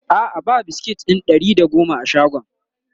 a'a ba biskit ɗin Ɗari da da goma a shagon